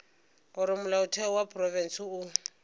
gore molaotheo wa profense o